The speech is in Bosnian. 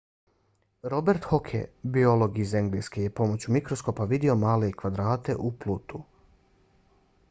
robert hooke biolog iz engleske je pomoću mikroskopa vidio male kvadrate u plutu